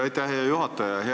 Aitäh, hea juhataja!